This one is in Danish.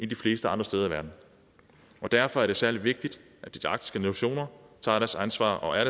de fleste andre steder i verden derfor er det særlig vigtigt at de arktiske nationer tager deres ansvar og er